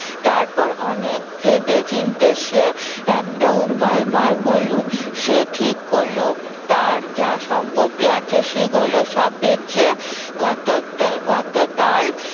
তারপর অনেক ভেবে চিনতে সে একটা উপায় বার করলো। সে ঠিক করলো তার যা সম্পত্তি আছে সেগুলো সব বেঁচে কত~ কত তাল